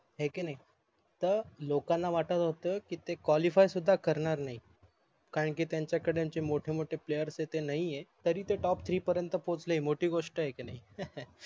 हाय की नाही त लोकांना वाटत होत ते QUALIFY सुद्धा करणार नाही करांकि त्यांचा कडे त्यांचे मोठे मोठे PLAYER हे ते नाही आहे तरी ते TOPTHREE पर्यन्त पोहचले हे मोठी गोष्ट आहे की नाही